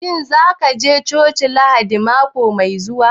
Shin za ka je coci Lahadin mako mai zuwa